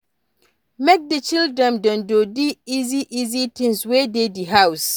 Make di children dem do di easy easy things wey dey di house